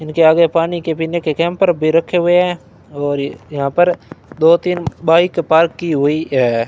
इनके आगे पानी के पीने के केन भरके भी रखे हुए हैं और यहां पर दो तीन बाइक पार्क की हुई है।